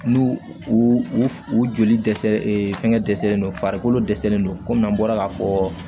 N'u u u u joli dɛsɛ fɛngɛ dɛsɛlen don farikolo dɛsɛlen do kɔmi an bɔra k'a fɔ